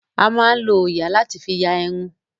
A máa ń lọ òòyà láti fi ya irun.